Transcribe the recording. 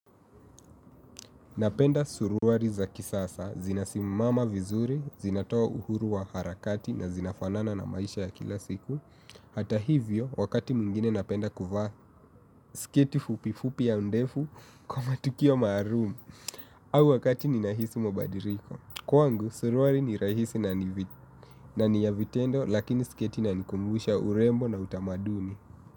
Napenda suruali za kisasa, zinasimama vizuri, zinatoa uhuru wa harakati na zinafanana na maisha ya kila siku. Hata hivyo, wakati mwingine napenda kuvaa, sketi fupi fupi ya ndefu kwa matukio maalum. Au wakati ninahisi mabadiliko. Kwangu, suruali ni rahisi na ni ya vitendo lakini sketi inanikumbusha urembo na utamaduni.